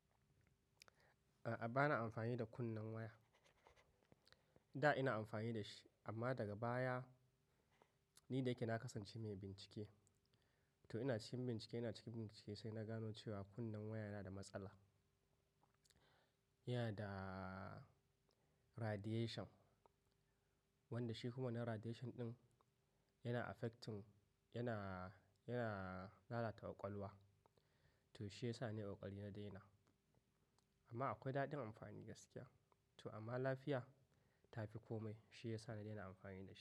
A'a, ba na amfani da kunnen waya. Da ina amfani da shi amma daga baya ni da yake na kasance mai bincike. To ina cikin bincike, ina cikin bincike sai na gano cewa kunnen waya yana da matsala. Yana da radiation wanda shi kuma wannan radiation ɗin yana affecting, yana, yana lalata ƙwaƙwalwa. To shi ya sa nayi ƙokari na daina. Amma akwai daɗin amfani gaskiya. To amma lafiya ta fi kome shi ya sa na daina amfani da shi.